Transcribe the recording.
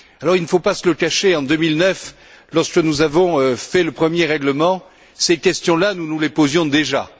Alors, il ne faut pas se le cacher, en 2009, lorsque nous avons fait le premier règlement, ces questions là, nous nous les posions déjà.